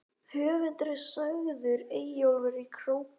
Höfundur er sagður Eyjólfur í Króki.